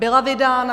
Byla vydána.